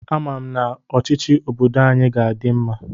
Ama m na ọchịchị obodo anyị ga-adị mma.